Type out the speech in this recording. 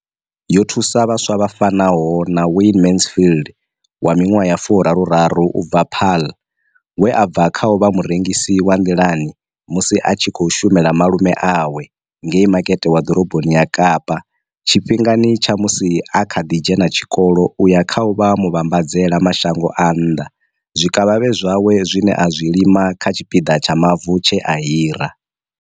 Yo thusa vhaswa vha fanaho na Wayne Mansfield, 33, u bva Paarl, we a bva kha u vha murengisi wa nḓilani musi a tshi khou shumela malume awe ngei Makete wa Ḓoroboni ya Kapa tshifhingani tsha musi a kha ḓi dzhena tshikolo u ya kha u vha muvhambadzela mashango a nnḓa zwikavhavhe zwawe zwine a zwi lima kha tshipiḓa tsha mavu tshe a hira.